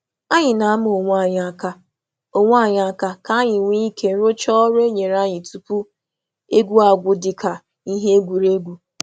Anyị na-enye Anyị na-enye um onwe anyị ihe ịma aka ka anyị gụsịrị ọrụ tupu egwu ọ bụla gwụsị um maka ntụrụndụ.